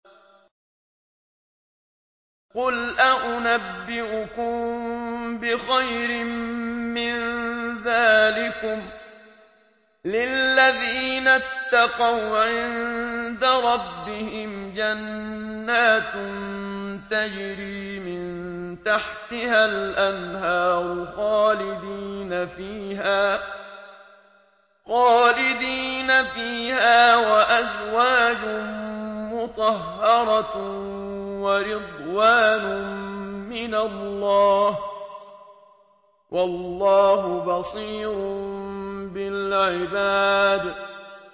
۞ قُلْ أَؤُنَبِّئُكُم بِخَيْرٍ مِّن ذَٰلِكُمْ ۚ لِلَّذِينَ اتَّقَوْا عِندَ رَبِّهِمْ جَنَّاتٌ تَجْرِي مِن تَحْتِهَا الْأَنْهَارُ خَالِدِينَ فِيهَا وَأَزْوَاجٌ مُّطَهَّرَةٌ وَرِضْوَانٌ مِّنَ اللَّهِ ۗ وَاللَّهُ بَصِيرٌ بِالْعِبَادِ